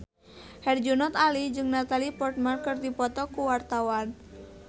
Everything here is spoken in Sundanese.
Herjunot Ali jeung Natalie Portman keur dipoto ku wartawan